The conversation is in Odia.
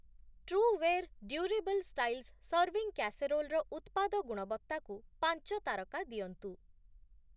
Trueware durable styles serving casserole ର ଉତ୍ପାଦ ଗୁଣବତ୍ତାକୁ ପାଞ୍ଚ ତାରକା ଦିଅନ୍ତୁ ।